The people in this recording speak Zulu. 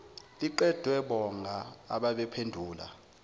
liqediwe bonga ababephendula